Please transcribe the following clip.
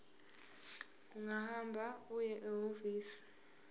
ungahamba uye ehhovisi